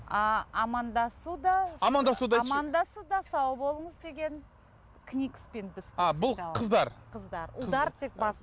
ааа амандасу да амандасуды айтшы амандасу да сау болыңыз деген кникспен біз ааа бұл қыздар қыздар ұлдар тек басын